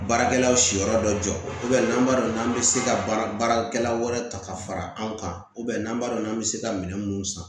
Baarakɛlaw siyɔrɔ dɔ jɔ n'an b'a dɔn n'an bɛ se ka baarakɛla wɛrɛ ta ka fara anw kan n'an b'a dɔn n'an bɛ se ka minɛn mun san